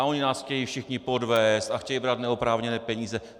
A oni nás chtějí všichni podvést a chtějí brát neoprávněné peníze.